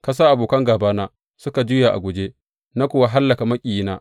Ka sa abokan gābana suka juya a guje, na kuwa hallaka maƙiyina.